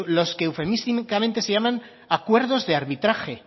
los que eufemísticamente se llaman acuerdos de arbitraje